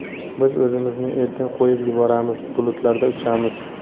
Biz o‘zimizni erkin qo‘yib yuboramiz, bulutlarda uchamiz.